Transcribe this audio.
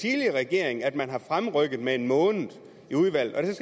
tidligere regering at man har fremrykket tingene med en måned i udvalget